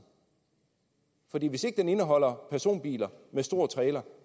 for hvis ikke den indeholder personbiler med stor trailer